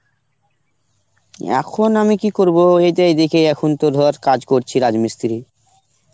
এখন আমি কি করবো ওই তাই দেখি এখন তো ধর কাজ করছি রাজমিস্ত্রির.